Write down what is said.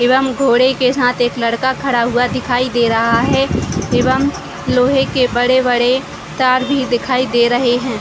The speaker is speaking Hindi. एवं घोड़े के साथ एक लड़का खड़ा हुआ दिखाई दे रहा है एवं लोहे के बड़े-बड़े तार भी दिखाई दे रह हैं।